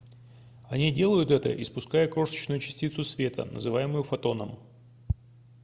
они делают это испуская крошечную частицу света называемую фотоном